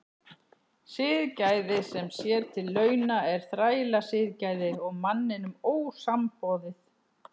Siðgæði sem sér til launa er þrælasiðgæði og manninum ósamboðið.